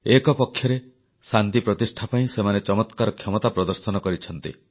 ଏକପକ୍ଷରେ ଶାନ୍ତି ପ୍ରତିଷ୍ଠା ପାଇଁ ସେମାନେ ଚମତ୍କାର କ୍ଷମତା ପ୍ରଦର୍ଶନ କରିଛନ୍ତି